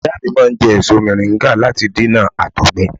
Ìyá mi máa ń jẹ́ èso mọ̀ríńgà láti dènà àtọ̀gbẹ